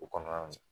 U kɔnɔna na